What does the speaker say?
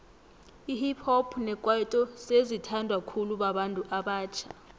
ihip hop nekwaito sezi thandwa khulu babantu abatjha